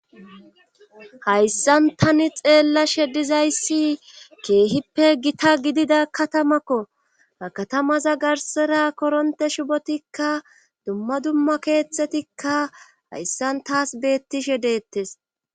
hayssan tani xeellashe dizayssi keehipe gita gidida katamakko ha katamaza garssera korontte shubotikka dumma dumma keethetikka hayssan tas beettishe deettes.